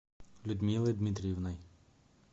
людмилой дмитриевной